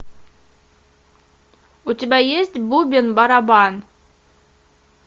у тебя есть бубен барабан